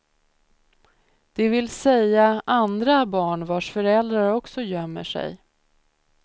Det vill säga andra barn vars föräldrar också gömmer sig.